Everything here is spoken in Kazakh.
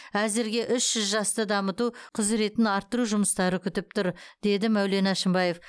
әзірге үш жүз жасты дамыту құзіретін арттыру жұмыстары күтіп тұр деді мәулен әшімбаев